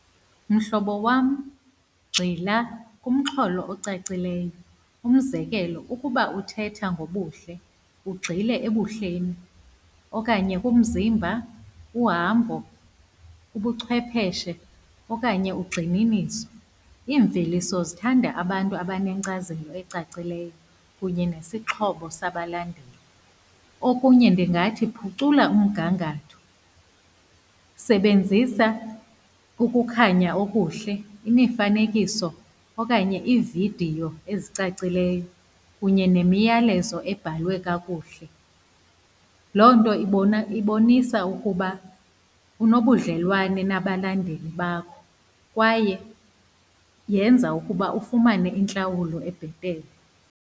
Mhlobo wam, gxila kumxholo ocacileyo, umzekelo ukuba uthetha ngobuhle, ugxile ebuhleni okanye kumzimba, uhambo, ubuchwepeshe okanye ugxininiso. Iimveliso zithanda abantu abanenkcazelo ecacileyo, kunye nesixhobo sabalandeli. Okunye ndingathi phucula umgangatho, sebenzisa ukukhanya okuhle, imifanekiso okanye iividiyo ezicacileyo kunye nemiyalezo ebhalwe kakuhle. Loo nto ibona, ibonisa ukuba unobudlelwane nabalandeli bakho, kwaye yenza ukuba ufumane intlawulo ebhetele.